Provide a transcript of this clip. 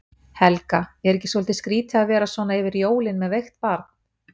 Helga: Er ekki svolítið skrýtið að vera svona yfir jólin með veikt barn?